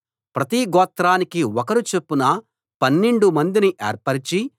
ప్రతి గోత్రానికి ఒకరు చొప్పున పన్నెండు మందిని ఏర్పరచి